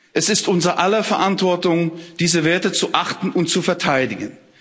Es ist unser aller Verantwortung, diese Werte zu achten und zu verteidigen.